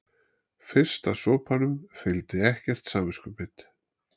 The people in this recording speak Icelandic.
Fyrsta sopanum fylgdi ekkert samviskubit.